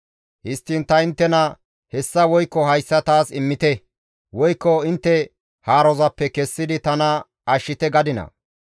Histtiin ta inttena hessa woykko hayssa taas immite, woykko intte haarozappe kessidi tana ashshite gadinaa?